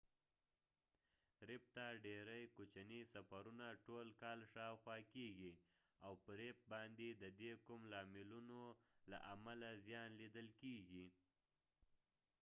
ریف ته ډیری کوچنې سفرونه ټول کال شاوخوا کیږي او په ریف باندې د دې کوم لاملونو له امله زیان لیدل کیږي